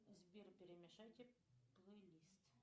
сбер перемешайте плейлист